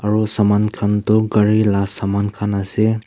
aru saman khan tu gari la saman khan ase.